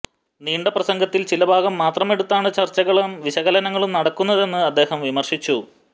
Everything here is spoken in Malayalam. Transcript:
നീണ്ട പ്രസംഗത്തിൽ ചിലഭാഗം മാത്രമെടുത്താണ് ചർച്ചകളും വിശകലനങ്ങളും നടക്കുന്നതെന്ന് അദ്ദേഹം വിമര്ശിച്ചു